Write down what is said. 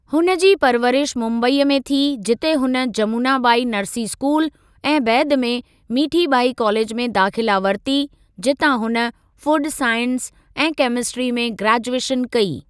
हुन जी परवरिश मुम्बईअ में थी जिते हुन जमुना बाई नरसी स्कूल ऐं बैदि में मिठी बाई कालेज में दाख़िला वरिती जितां हुन फुड साइंस ऐं केमिस्ट्री में ग्रेजूएशन कई।